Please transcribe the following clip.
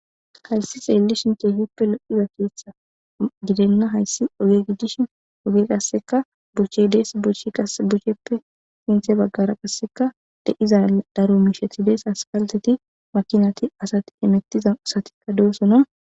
Kayssi tseellishin keehippe lo7iya keththi gidenna hayssi oge gidishin oge qassikka dochchee des; dochchee qassi guyyeppe miyye baggaara qassikka eqqiza daro misheti des; asppaltteti, makiinati, asati hemettida asatikka doosona.